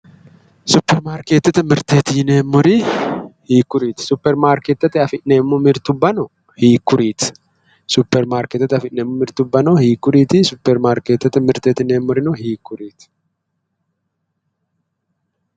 superimaarkeetete mirteeti yineemmori hiikkuriiti? superimaarkeetete afi'neemmo mirtubbano hiikkuriiti? superimaarkeetete mirtubba hiikkuriiti? superimaarkeetete mirteti yineemmori hiikkuriiti?